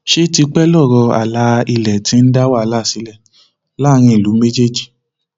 ṣe tipẹ lọrọ àlà ilẹ ti ń dá wàhálà sílẹ láàrin ìlú méjèèjì